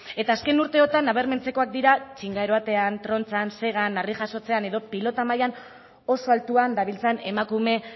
eta azken urteotan nabarmentzekoak dira txinga eroatean trontzan segan harri jasotzean edo pilota mailan oso altuan dabiltzan emakume